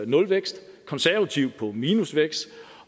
nulvækst konservative på minusvækst